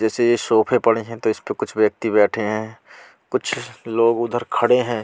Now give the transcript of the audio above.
जैसे ये सोफे पड़े हैं तो इस पे कुछ व्यक्ति बैठे हैं कुछ लोग उधर खड़े हैं।